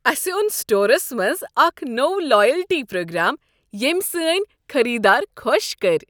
اسہ اوٚن سٹورس منٛز اکھ نوٚو لایلٹی پرٛوگرام ییٚمۍ سٲنۍ خریدار خۄش کٔرۍ۔